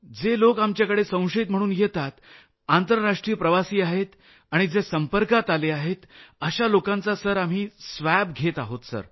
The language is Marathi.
जे लोक आमच्याकडे संशयित म्हणून येतात आंतरराष्ट्रीय प्रवासी आहेत आणि जे संपर्कात आले आहेत अशा लोकांचा सर आम्ही स्वॅब घेत आहोत सर